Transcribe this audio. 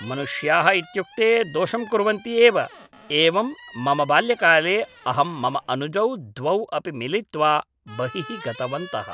मनुष्याः इत्युक्ते दोषं कुर्वन्ति एव एवं मम बाल्यकाले अहं मम अनुजौ द्वौ अपि मिलित्वा बहिः गतवन्तः